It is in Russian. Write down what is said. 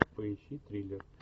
поищи триллер